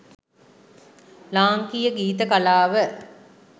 ලාංකීය ගීත කලාව